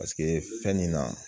Paseke fɛn nin na